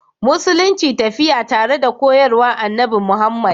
Musulunci tafiya tare koyarwa Annabi Muhammad